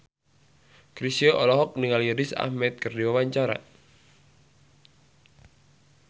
Chrisye olohok ningali Riz Ahmed keur diwawancara